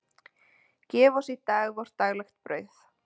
Gef oss í dag vort daglegt brauð.